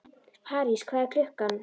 París, hvað er klukkan?